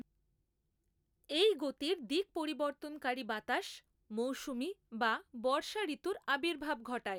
এই গতির দিক পরিবর্তনকারী বাতাস মৌসুমী বা বর্ষাঋতুর আবির্ভাব ঘটায়।